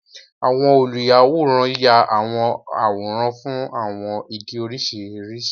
Àwọn oluyàwòrán yá àwọn àwòrán fún àwọn ìdí oríṣiríṣi.